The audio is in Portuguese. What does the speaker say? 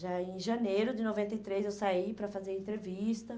Já em janeiro de noventa e três, eu saí para fazer entrevista.